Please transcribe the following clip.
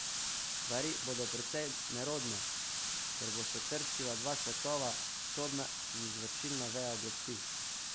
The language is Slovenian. Stvari bodo precej nerodne, ker bosta trčila dva svetova, sodna in izvršilna veja oblasti.